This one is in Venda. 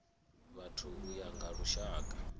vhathu u ya nga lushaka